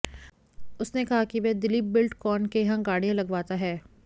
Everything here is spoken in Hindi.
उसने कहा कि वह दिलीप बिल्डकॉन के यहां गाड़ियां लगवाता है